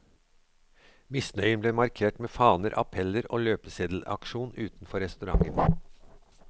Misnøyen ble markert med faner, appeller og løpeseddelaksjon utenfor restauranten.